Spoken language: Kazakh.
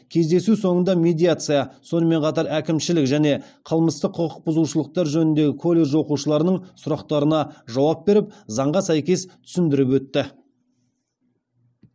кездесу соңында медиация сонымен қатар әкімшілік және қылмыстық құқық бұзушылықтар жөніндегі колледж оқушыларының сұрақтарына жауап беріп заңға сәйкес түсіндіріп өтті